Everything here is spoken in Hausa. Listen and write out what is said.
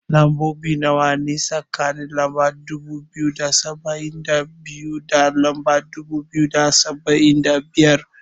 Lambobi nawa ne, a tsakanin lamba dubu biyu da saba'in da biyu, da lamba dubu biyu da saba'in da biyar.